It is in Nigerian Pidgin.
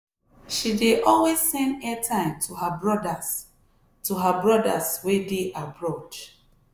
she dey always send airtime to her brothers to her brothers wey dey abroad.